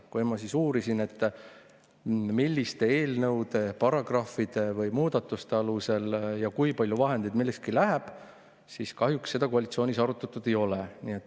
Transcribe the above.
Kui ma siis uurisin, milliste eelnõude, paragrahvide või muudatuste alusel ja kui palju vahendeid millekski läheb, siis kahjuks ei ole koalitsioonis seda arutatud.